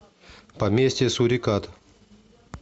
поместье сурикат